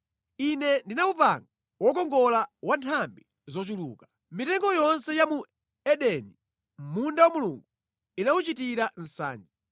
Ine ndinawupanga wokongola wa nthambi zochuluka. Mitengo yonse ya mu Edeni, mʼmunda wa Mulungu inawuchitira nsanje.